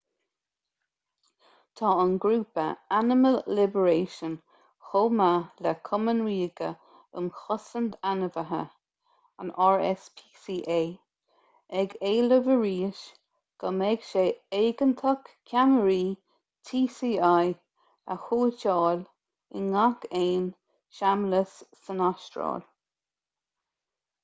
tá an grúpa animal liberation chomh maith le cumann ríoga um chosaint ainmhithe rspca ag éileamh arís go mbeidh sé éigeantach ceamaraí tci a shuiteáil i ngach aon seamlas san astráil